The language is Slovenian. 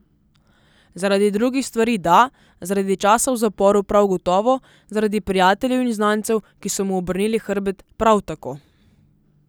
Zaradi drugih stvari da, zaradi časa v zaporu prav gotovo, zaradi prijateljev in znancev, ki so mu obrnili hrbet, prav tako.